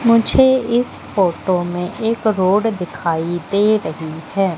मुझे इस फोटो में एक रोड दिखाई दे रही हैं।